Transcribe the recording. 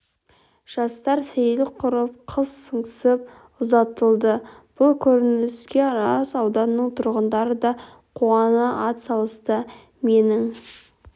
жастар сейіл құрып қыз сыңсып ұзатылды бұл көрініске арыс ауданының тұрғындары да қуана атсалысты менің